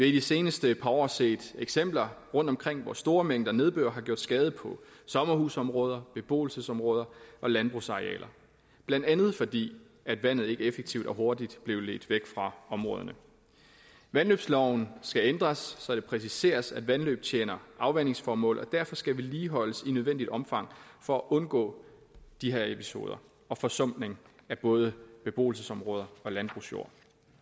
i de seneste par år set eksempler rundtomkring på at store mængder nedbør har gjort skade på sommerhusområder beboelsesområder og landbrugsarealer blandt andet fordi vandet ikke effektivt og hurtigt blev ledt væk fra områderne vandløbsloven skal ændres så det præciseres at vandløb tjener afvandingsformål og derfor skal vedligeholdes i nødvendigt omfang for at undgå de her episoder og forsumpning af både beboelsesområder og landbrugsjord